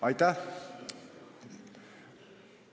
Aitäh!